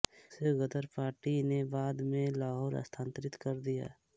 उसे गदर पार्टी ने बाद में लाहौर स्थानान्तरित कर दिया